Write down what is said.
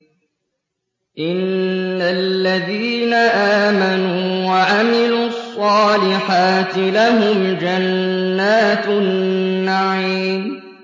إِنَّ الَّذِينَ آمَنُوا وَعَمِلُوا الصَّالِحَاتِ لَهُمْ جَنَّاتُ النَّعِيمِ